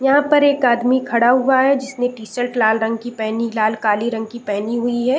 यहाँ पर एक आदमी खड़ा हुआ है जिसने टी-शर्ट लाल रंग की पेहनी लाल काली रंग की पेहनी हुई है ।